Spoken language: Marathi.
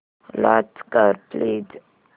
लॉंच कर प्लीज